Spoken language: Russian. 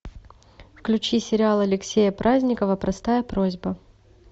включи сериал алексея праздникова простая просьба